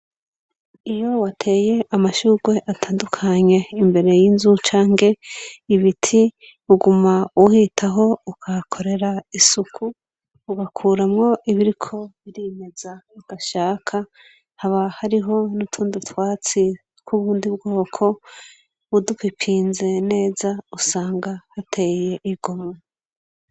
Iyo wateye amashurwe atandukanye imbere yinzu canke ibiti uguma uhitaho ukahakorera isuku ugakuramwo ibiriko birimeza udashaka haba hariho nutundi twatsi twubundi bwoko udupipinze neza usanga duteye igomwe.